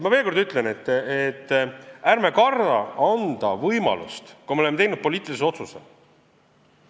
Ma veel kord ütlen, et ärme kardame anda võimalust, kui me oleme teinud poliitilise otsuse.